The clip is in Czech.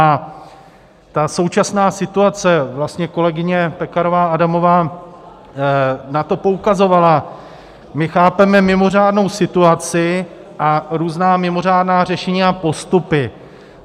A ta současná situace, vlastně kolegyně Pekarová Adamová na to poukazovala - my chápeme mimořádnou situaci a různá mimořádná řešení a postupy.